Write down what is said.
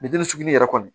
Ni den sugu yɛrɛ kɔni